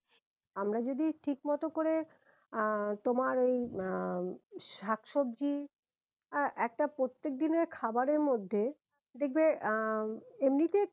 আমরা যদি ঠিক মতো করে আহ তোমার এই আহ শাক সবজি আহ একটা প্রত্যেক দিনের খাবারের মধ্যে দেখবে আহ এমনিতে